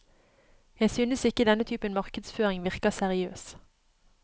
Jeg synes ikke denne typen markedsføring virker seriøs.